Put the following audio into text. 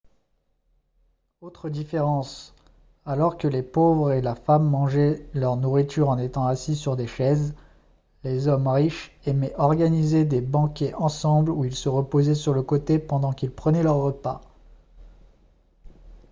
autre différence alors que les pauvres et la femme mangeaient leur nourriture en étant assis sur des chaises les hommes riches aimaient organiser des banquets ensemble où ils se reposaient sur le côté pendant qu'ils prenaient leur repas